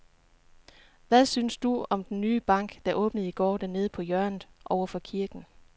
Hvad synes du om den nye bank, der åbnede i går dernede på hjørnet over for kirken?